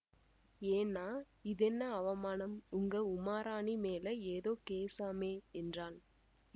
ஏன்னா இதென்ன அவமானம் உங்க உமாராணி மேல ஏதோ கேஸாமே என்றாள்